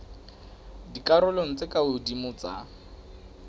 dikarolong tse ka hodimo tsa